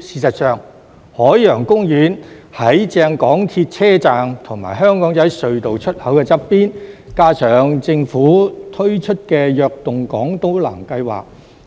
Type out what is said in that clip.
事實上，海洋公園正正在港鐵車站和香港仔隧道出口旁邊，加上政府推出"躍動港島南"計劃，